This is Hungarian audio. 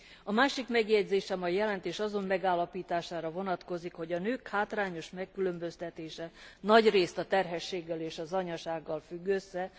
A másik megjegyzésem a jelentés azon megállapítására vonatkozik, hogy a nők hátrányos megkülönböztetése nagyrészt a terhességgel és az anyasággal függ össze.